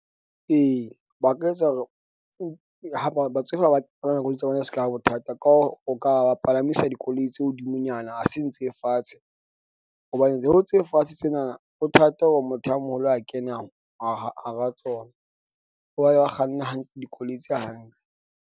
E, ba ka etsa hore ha batsofe ha ba palama dikoloi tsa bona e se ka ba bothata ka o ka ba palamisa dikoloi tse hodimonyana. Ha seng tse fatshe hobane tseo tse fatshe tsena na ho thata hore motho a moholo a kene, hara tsona, ba kganna hantle dikoloi tse hantle.